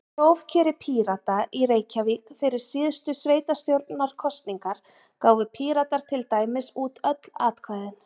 Í prófkjöri Pírata í Reykjavík fyrir síðustu sveitastjórnarkosningar gáfu Píratar til dæmis út öll atkvæðin.